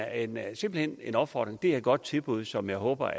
andet er simpelt hen en opfordring det er et godt tilbud som jeg håber